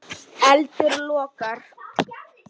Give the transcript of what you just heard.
Eldur logar.